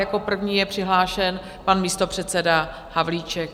Jako první je přihlášen pan místopředseda Havlíček.